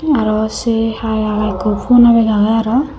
aro se hai arow ekko poohna bag agey arow.